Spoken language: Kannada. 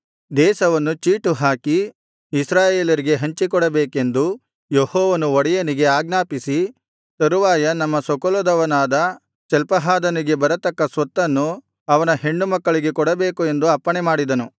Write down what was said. ದೇಶವನ್ನು ಚೀಟುಹಾಕಿ ಇಸ್ರಾಯೇಲರಿಗೆ ಹಂಚಿಕೊಡಬೇಕೆಂದು ಯೆಹೋವನು ಒಡೆಯನಿಗೆ ಆಜ್ಞಾಪಿಸಿ ತರುವಾಯ ನಮ್ಮ ಸ್ವಕುಲದವನಾದ ಚಲ್ಪಹಾದನಿಗೆ ಬರತಕ್ಕ ಸ್ವತ್ತನ್ನು ಅವನ ಹೆಣ್ಣುಮಕ್ಕಳಿಗೆ ಕೊಡಬೇಕು ಎಂದು ಅಪ್ಪಣೆಮಾಡಿದನು